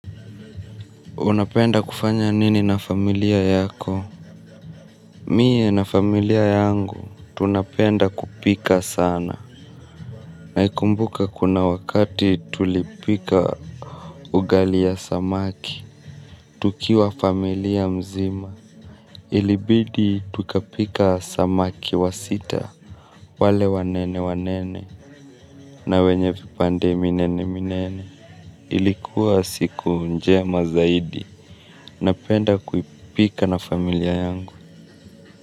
Unapenda kufanya nini na familia yako? Mie na familia yangu, tunapenda kupika sana. Naikumbuka kuna wakati tulipika ugali ya samaki, tukiwa familia mzima, ilibidi tukapika samaki wa sita. Wale wanene wanene, na wenye vipande minene minene. Ilikuwa siku njema zaidi, napenda kuipika na familia yangu.